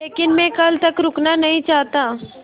लेकिन मैं कल तक रुकना नहीं चाहता